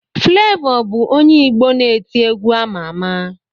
Flevọ bụ onye Igbo na-eti egwu ama ama.